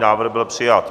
Návrh byl přijat.